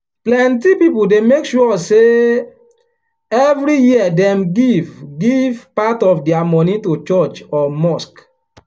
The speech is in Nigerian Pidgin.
plenty people dey make sure say every year dem give give part of their money to church or mosque.